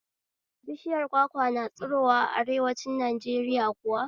Bishiyar kwakwa na tsirowa a arewanci Najeriya kuwa?